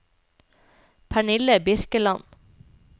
Pernille Birkeland